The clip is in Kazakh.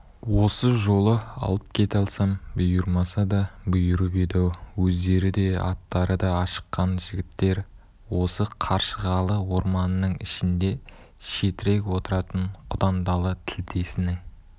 осы жолы алып кете алсам бұйырмаса да бұйырып еді-ау өздері де аттары да ашыққан жігіттер осы қаршығалы орманының ішінде шетірек отыратын құдандалы тілдесінің